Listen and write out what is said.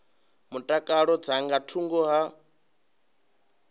mutakalo dza nga thungo ha